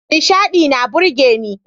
Nishaɗi na burgeni.